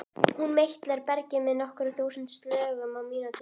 Hún meitlar bergið með nokkur þúsund slögum á mínútu.